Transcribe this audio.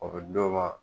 O bɛ d'o ma